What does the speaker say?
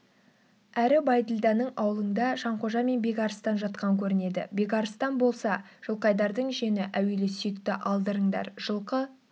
әрі бәйділданың аулыңда жанқожа мен бекарыстан жатқан көрінеді бекарыстан болса жылқайдардың жиені әуелі сүйекті алдырыңдар жылқы